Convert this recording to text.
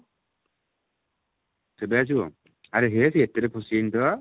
କେବେ ଆସିବ ଆରେ ହେ ସେ ଏଥିରେ ଫସିଯାଇନି ତ